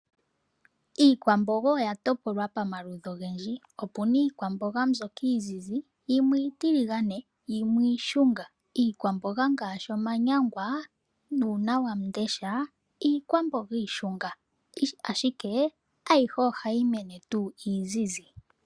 Iikwamboga oya topolwa pamaludhi ogendji. Opuna iikwamboga mbyoka iizizi, iitiligane, na yimwe iishunga. Iikwamboga ngaashi omanyangwa nuunawamundesha, iikwamboga iishunga, ashike ayihe ohayi mene tuu iizizi.